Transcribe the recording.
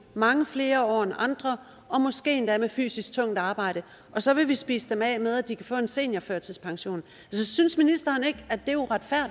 mange flere år end andre og måske endda med fysisk tungt arbejde og så vil vi spise dem af med at de kan få en seniorførtidspension synes ministeren ikke